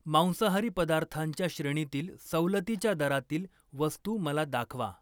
मांसाहारी पदार्थांच्या श्रेणीतील सवलतीच्या दरातील वस्तू मला दाखवा.